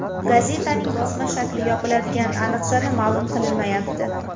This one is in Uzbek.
Gazetaning bosma shakli yopiladigan aniq sana ma’lum qilinmayapti.